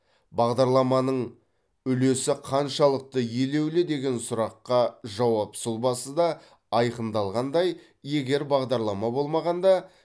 бағдарламаның үлесі қаншалықты елеулі деген сұраққа жауап сұлбасы да айқындалғандай егер бағдарлама болмағанда